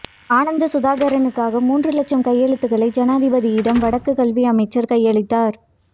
ஆனந்தசுதாகரனுக்காக மூன்று இலட்சம் கையெழுத்துகளை ஜனாதிபதியிடம் வடக்கு கல்வி அமைச்சர் கையளித்தார்